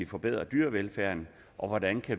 forbedre dyrevelfærden og hvordan